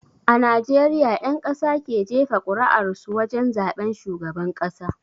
A najeriya ƴan ƙasa ke jefa kur'ar su wajen zaben shugaban ƙasa